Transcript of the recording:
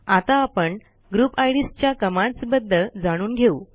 आता आपण group IDs च्या कमांडस् बद्दल जाणून घेऊ